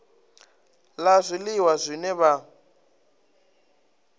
la zwiliwa zwine zwa vha